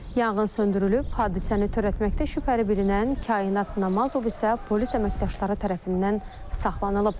Yanğın söndürülüb, hadisəni törətməkdə şübhəli bilinən Kainat Namazov isə polis əməkdaşları tərəfindən saxlanılıb.